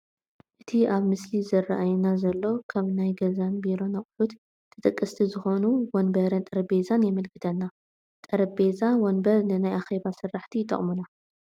እቲ ኣብቲ ምስሊ ዝራኣየና ዘሎ ካብ ናይ ገዛን ቢሮን ኣቕሑት ተጠቀስቲ ዝኾኑ ወንበርን ጠረጼዛን የመለክተና፡፡ ጠረጼዛ ወንበን ንናይ ኣኼባ ስራሕቲ ይጠቕሙና፡፡